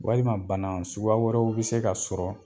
Walima bana suguya wɛrɛw bi se ka sɔrɔ